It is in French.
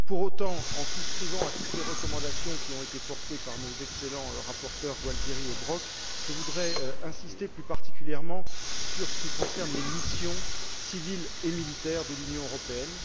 Pour autant, tout en souscrivant à toutes les recommandations qui ont été portées par nos excellents rapporteurs, Gualtieri et Brok, je voudrais insister plus particulièrement sur les missions civiles et militaires de l'Union européenne.